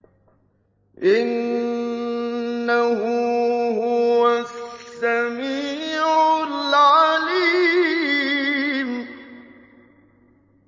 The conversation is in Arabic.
إِنَّهُ هُوَ السَّمِيعُ الْعَلِيمُ